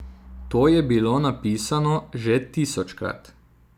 To je bilo napisano že tisočkrat.